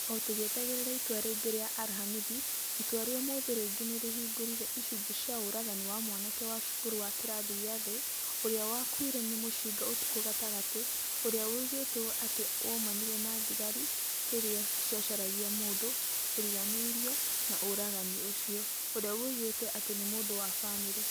O tugietagĩrĩra itua rĩa arihamithi, itua rĩa ũmũthĩ rĩngĩ nĩ rĩhingũrire icunjĩ cia ũragani wa mwanake wa cukuru wa kĩrathi gĩa thĩ ũrĩa wakuire nĩ mũcinga ũtukũ gatagatĩ, ũrĩa woigĩtwo atĩ woimanire na thigari rĩrĩa ciacaragia mũndũ ũriganĩirio na ũragani ũcio, ũrĩa woigĩtwo atĩ nĩ mũndũ wa famĩlĩ.